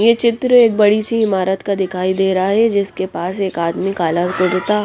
ये चित्र एक बड़ी सी इमारत का दिखाई दे रहा हैं जिसके पास एक आदमी काला कुर्ता --